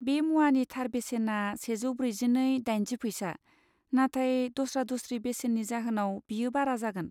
बे मुवानि थार बेसेना से जौ ब्रैजिनै दाइनजि फैसा, नाथाय दस्रा दस्रि बेसेननि जाहोनाव बेयो बारा जागोन।